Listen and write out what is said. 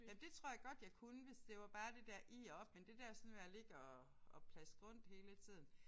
Men det tror jeg godt jeg kunne hvis det var bare det der i og op men det der sådan med at ligge og og plaske rundt hele tiden